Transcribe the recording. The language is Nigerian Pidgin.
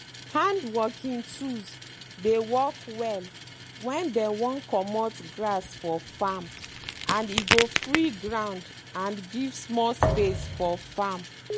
hand working tools dey work well when dey wan comot grass for farm and e go free ground and give small space for farm.